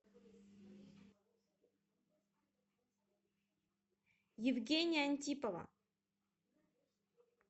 евгения антипова